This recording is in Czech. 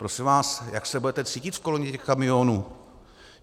Prosím vás, jak se budete cítit v kolonii těch kamionů?